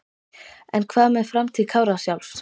En hvað með framtíð Kára sjálfs?